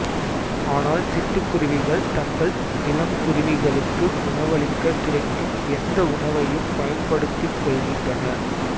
ஆனால் சிட்டுக்குருவிகள் தங்கள் இளங்குருவிகளுக்கு உணவளிக்க கிடைக்கும் எந்த உணவையும் பயன்படுத்திக் கொள்கின்றன